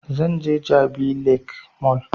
Zan je jabi lake mall